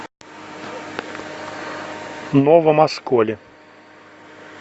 новом осколе